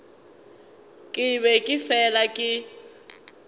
ke be ke fela ke